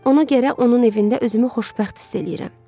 Ona görə onun evində özümü xoşbəxt hiss eləyirəm.